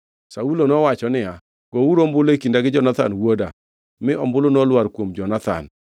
Saulo nowacho niya, “Gouru ombulu e kinda gi Jonathan wuoda.” Mi ombulu nolwar kuom Jonathan.